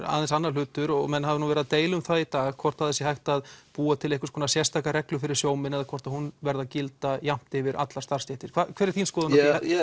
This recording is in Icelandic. aðeins annar hlutur og menn hafa nú verið að deila um það í dag hvort að það sé hægt að búa til einhverja sérstaka reglu fyrir sjómenn eða hvort að hún verði að gilda jafnt yfir allar starfsstéttir hver er þín skoðun